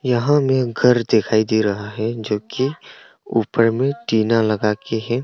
यहां में घर दिखाई दे रहा है जो कि ऊपर में टीना लगाके है।